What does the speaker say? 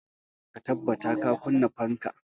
Ka tabbata ka kunna fanka!